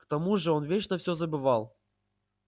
к тому же он вечно всё забывал